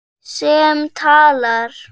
Sem talar.